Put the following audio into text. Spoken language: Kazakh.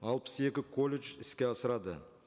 алпыс екі колледж іске асырады